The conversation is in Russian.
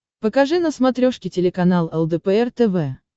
покажи на смотрешке телеканал лдпр тв